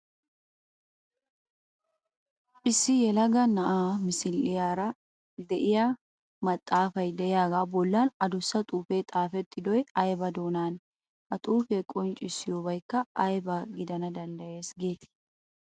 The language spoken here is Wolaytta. Issi yelaga na'aa misiliyara de'iya maxxaafay de'iyagaa bollan adussa xuufee xaafettidoy ayba doonaanee? Ha xuufee qonccissiyobaykka ayba gidana danddayees geetii?